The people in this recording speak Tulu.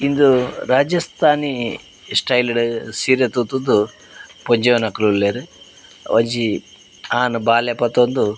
ಇಂದ್ ರಾಜಸ್ಥಾನಿ ಸ್ಟೈಲ್ ಡ್ ಸೀರೆ ಸುತ್ತುದು ಪೊಂಜೊವುನಕುಲು ಉಲ್ಲೆರ್ ಒಂಜಿ ಆನ್ ಬಾಲೆ ಪತೊಂದು.